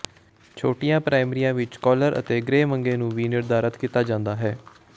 ਛੋਟੀਆਂ ਪ੍ਰਾਇਮਰੀਆਂ ਵਿਚ ਕਾਲਰ ਅਤੇ ਗ੍ਰੇ ਮੰੈਗੇ ਨੂੰ ਵੀ ਨਿਰਧਾਰਤ ਕੀਤਾ ਜਾਂਦਾ ਹੈ